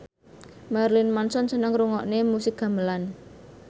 Marilyn Manson seneng ngrungokne musik gamelan